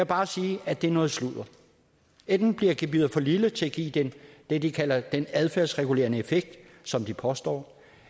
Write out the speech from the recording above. bare sige at det er noget sludder enten bliver gebyret for lille til at give det de kalder den adfærdsregulerende effekt som de påstår